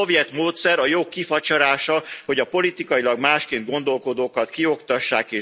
Ez a szovjet módszer, a jog kifacsarása, hogy a politikailag másként gondolkodókat kioktassák és zsarolják. Mi már láttunk ilyet.